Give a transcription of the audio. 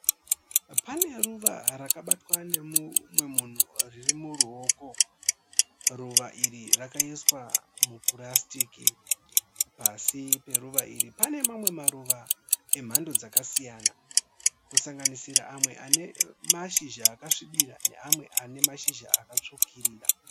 Pane ruva rakabatwa nemumwe munhu riri muruoko. Ruva iri rakaiswa mupurasitiki. Pasi peruva iri pane mamwe maruva emhando dzakasiyana kusanganisira amwe ane mashizha akasvibira neamwe ane mashizha akatsvukuruka.